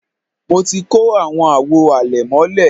mo ti kó àwọn àwo àlẹ̀mọ́lẹ̀